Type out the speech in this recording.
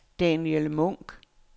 Daniel Munk